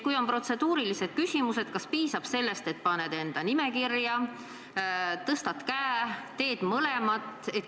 Kui on protseduurilised küsimused, kas piisab sellest, et paned enda nime kirja, tõstad käe või pead mõlemat tegema?